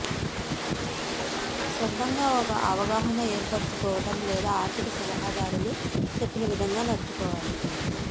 సొంతంగా ఒక అవగాహన ఏర్పరుచుకోవడం లేదా ఆర్థిక సలహాదారులు చెప్పిన విధంగా నడుచుకోవాలి